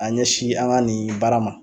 A ɲɛ si an ŋa nin baara ma